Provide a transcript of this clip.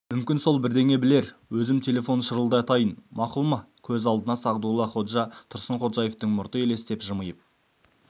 мүмкін сол бірдеңе білер өзім телефон шылдырлатайын мақұл ма көз алдына сағдуллаходжа тұрсынходжаевтың мұрты елестеп жымиып